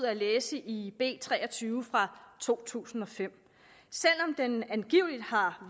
at læse i b tre og tyve fra to tusind og fem selv om den angiveligt har